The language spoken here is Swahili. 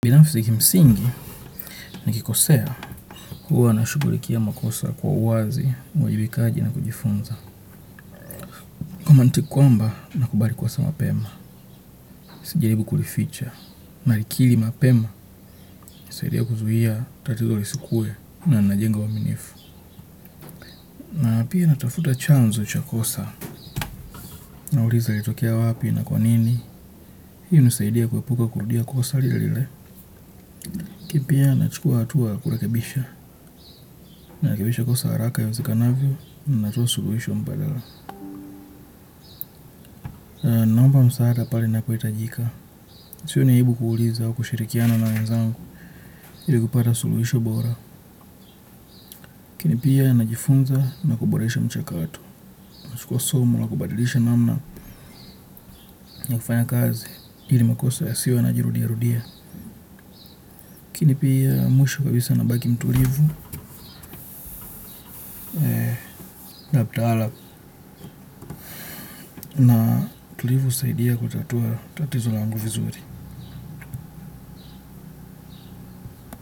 Binafisi kimsingi nikikosea, huwa nashughulikia makosa kwa uwazi, uwajibikaji na kujifunza. Kama mtu kwamba nakubali kosa mapema, sijaribu kulificha. Na likili mapema, inisaidia kuzuia tatizo lisikuwe na najenga uaminifu. Na pia natafuta chanzo cha kosa, nauliza ilitokia wapi na kwa nini. Hii hunisaidia kuepuka kurudia kosa lile lile. Ki pia, nachukua hatua ya kurekebisha. Narekebisha kosa haraka iwezekananavyo, natoa suluhisho mpadala. Na naomba msaada pale inapohitajika sioni aibu kuuliza au kushirikiana na wenzangu ndio nipate suluhisho bora lakini pia najifunza na kuboresha mchakato nachukua somo la kubadilisha namna na kufanya kazi ili makosa yasiwe yanajirudia rudia mimi pia mwisho kabisa nabaki mtulivu kaptala na utulivu husaidia kutatua tatizo langu vizuri.